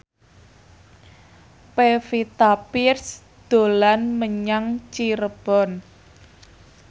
Pevita Pearce dolan menyang Cirebon